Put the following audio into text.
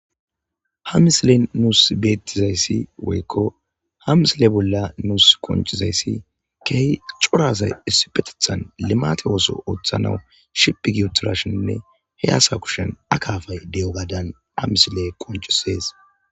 Ha misile nuus bettizayssi woykko ha misile bolla nuus qonchizayssi keehi cora asay issipetethan limate ooso ooththanawu shiqqi gi utirashenne he asa kushen a kafay de7o gadan a misile konchisees.